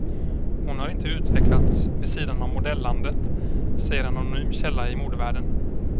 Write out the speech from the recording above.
Och hon har inte utvecklats vid sidan av modellandet, säger en anonym källa i modevärlden.